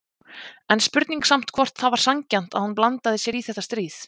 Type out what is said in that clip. En spurning samt hvort það var sanngjarnt að hún blandaði sér í þetta stríð?